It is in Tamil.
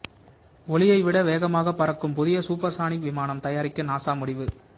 ஒலியை விட வேகமாகப் பறக்கும் புதிய சூப்பர்சானிக் விமானம் தயாரிக்க நாசா முடிவு